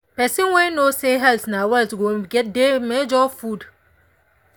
person wey know say health na wealth go dey measure food.